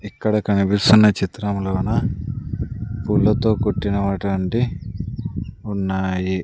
ఇక్కడ కనిపిస్తున్న చిత్రములోన పూలతో కుట్టినటు వంటి ఉన్నాయి.